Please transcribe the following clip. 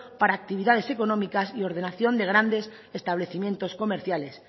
para actividades económicas y ordenación de grandes establecimientos comerciales